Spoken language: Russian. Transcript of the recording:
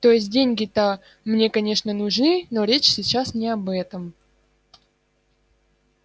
то есть деньги-то мне конечно нужны но речь сейчас не об этом